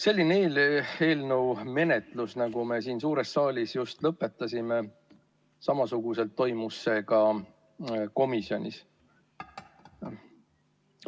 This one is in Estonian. Selline eelnõu menetlus, nagu me siin suures saalis just lõpetasime, toimus samamoodi ka komisjonis.